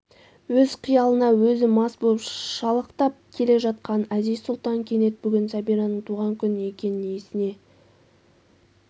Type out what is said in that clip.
өз қиялына өз мас боп шалықтап келе жатқан әзиз-сұлтан кенет бүгін сәбираның туған күн екен есіне